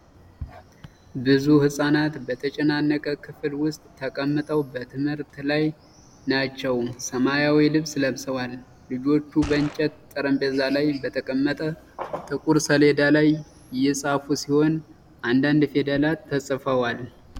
ብዙ ሕፃናት በተጨናነቀ ክፍል ውስጥ ተቀምጠው በትምህርት ላይ ናቸው። ሰማያዊ ልብስ ለብሰዋል። ልጆቹ በእንጨት ጠረጴዛ ላይ በተቀመጠ ጥቁር ሰሌዳ ላይ እየጻፉ ሲሆን፣ አንዳንድ ፊደላት ተጽፈዋል።